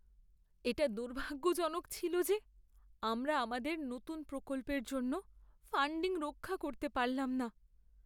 এটা দুর্ভাগ্যজনক ছিল যে আমরা আমাদের নতুন প্রকল্পের জন্য ফাণ্ডিং রক্ষা করতে পারলাম না।